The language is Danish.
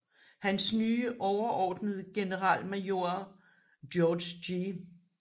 Hans nye overordnede generalmajor George G